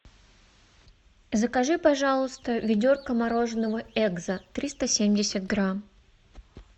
закажи пожалуйста ведерко мороженого экзо триста семьдесят грамм